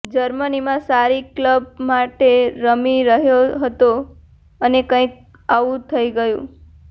જર્મનીમાં સારી ક્લબ માટે રમી રહ્યો હતો અને કંઇક આવું થઈ ગયું